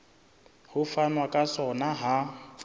ho fanwa ka sona ha